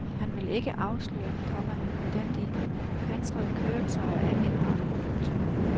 Han vil ikke afsløre, komma hvordan de pansrede køretøjer er indrettet. punktum